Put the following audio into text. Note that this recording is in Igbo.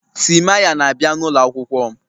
Timaya na-abịa n'ụlọ akwụkwọ m